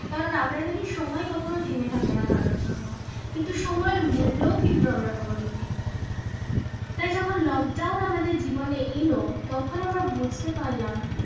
কারণ আমরা জানি সময় কখনো থেমে থাকে না কারোর জন্য কিন্তু সময়ের মূল্য কিন্তু আমরা কোনদিন দিইনি তাই যখন lockdown আমাদের জীবনে এলো তখন আমরা বুঝতে পারলাম